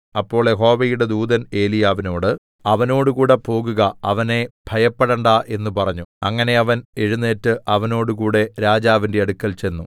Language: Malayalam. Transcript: അപ്പോൾ യഹോവയുടെ ദൂതൻ ഏലീയാവിനോട് അവനോടുകൂടെ പോകുക അവനെ ഭയപ്പെടേണ്ടാ എന്ന് പറഞ്ഞു അങ്ങനെ അവൻ എഴുന്നേറ്റ് അവനോടുകൂടെ രാജാവിന്റെ അടുക്കൽ ചെന്നു